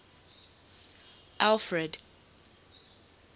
alfred